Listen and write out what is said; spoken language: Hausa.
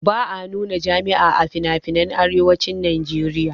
Ba a nuna jima'i a finafinan arewacin najeriya